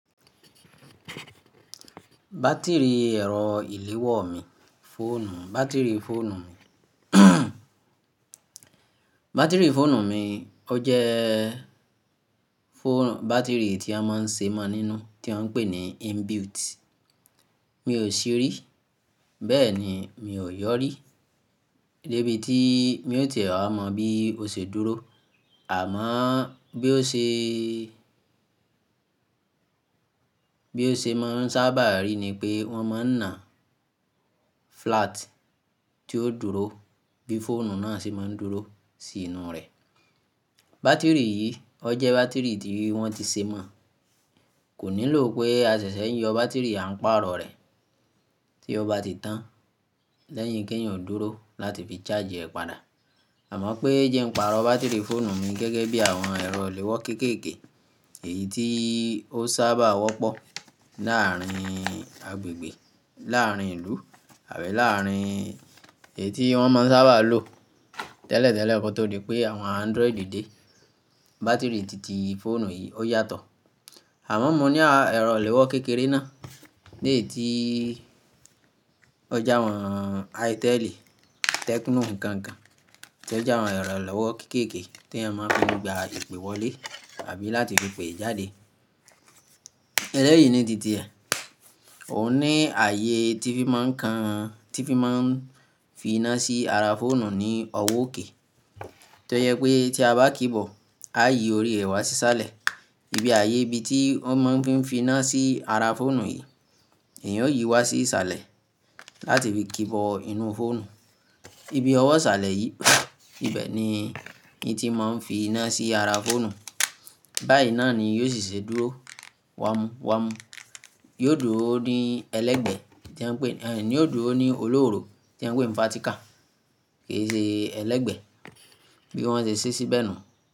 Batiri ẹ̀rọ ìléwọ́ mi, fóònù, batiri fóònù mi. Batiri fóònù mi, ó jẹ́ fóònù, batiri tí a máa ń ṣe mọ nínú, tí wọ́n ń pè ní inbuilt. Mi ò sì rí, bẹ́ẹ̀ ni mi ò yọ rí, débi tí mi ò tẹ̀ẹ́ àmọ bí ó ṣe dúró. Àmọ bí ó ṣe, bí ó ṣe máa ń sábà rí ni pé wọ́n máa ń ná flat tí ó dúró bí fóònù náà ṣe máa ń dúró sí inú rẹ̀. Batiri yìí, ó jẹ́ batiri tí wọ́n ti ṣe mọ̀, kò nílò pé a ṣẹ̀ṣẹ̀ yọ batiri à ń pàrọ̀ rẹ̀ tí ó bá ti tán lẹ́yìn kí èèyàn dúró láti fi charge ẹ̀ padà. Àmọ pé ńjẹ ń pàrọ̀ batiri fóònù mi gẹ́gẹ́ bí àwọn ẹ̀rọ léwọ́ kéékèèké èyí tí ó sábà wọ́pọ̀ láàárin agbègbè, láàárin ìlú àbí láàárin èyí tí wọ́n sábà máa ń lò. Tẹ́lẹ̀tẹ́lẹ̀, kó tó di pé àwọn Android dé, batiri tìtì fóònù yìí ó yàtọ̀. Àmọ mo ní àwọn ẹ̀rọ léwọ́ kékeré náà lè tí ó jẹ́ àwọn Itel, Tecno n kan kan tí ó jẹ́ àwọn ẹ̀rọ léwọ́ kéékèèké tí a máa ń fi gbé ìpè wọlé àbí láti fi pè jáde. Ẹ́leyìí ni tìtì rẹ̀, òun ní ààyè tí fi máa ń kan, tí fi máa ń fi iná sí ara fóònù ní ọwọ́ òkè tí ó yẹ pé tí a bá kíbọ̀ a yí orí rẹ̀ wá sí sálẹ̀. Ibi ààyè ibi tí wọ́n máa ń fi fi iná sí ara fóònù yìí, èèyàn yóò yí i wá sí sálẹ̀ láti fi kíbọ̀ inú fóònù. Ibi ọwọ́ sálẹ̀ yìí, ibẹ̀ ni n tí máa ń fi iná sí ara fóònù. Báyìí náà ni yóò ṣì ṣe dúró, wámú-wámú, yóò dúró ní ẹlẹ́gbẹ̀ẹ́ tí ẹ ń pè, ẹ n, yóò dúró ní olóòórọ̀ tí ẹ ń pè fatika, kì í ṣe ẹlẹ́gbẹ̀ẹ́ bí wọ́n ṣe ṣí sí bẹ́ẹ̀ nù.